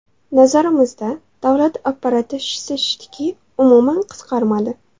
Nazarimizda, davlat apparati shishsa shishdiki, umuman qisqarmadi.